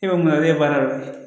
E bɛ mun dɔn e ye baara dɔ ye